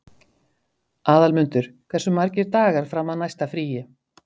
Aðalmundur, hversu margir dagar fram að næsta fríi?